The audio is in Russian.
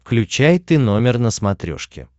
включай ты номер на смотрешке